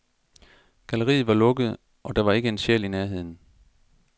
Galleriet var lukket, og der var ikke en sjæl i nærheden.